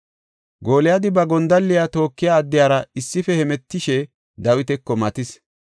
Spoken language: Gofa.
Gooliyadi ba gondalliya tookiya addiyara issife hemetishe Dawitako matis.